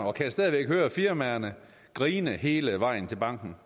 og kan stadig væk høre firmaerne grine hele vejen til banken